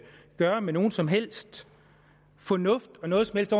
gøre med nogen som helst fornuft og noget som helst